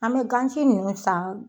An be gan si ninnu san